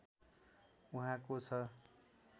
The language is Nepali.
उहाँको छ